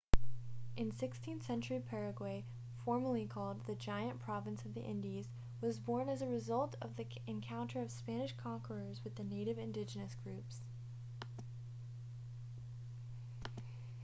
in the 16th century paraguay formerly called the giant province of the indies was born as a result of the encounter of spanish conquerors with the native indigenous groups